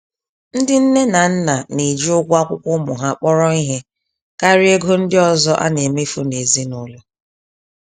Ndị nné na nna neji ụgwọ akwụkwọ ụmụ ha kpọrọ ìhè, karịa égo ndị ọzọ anemefu nezinụlọ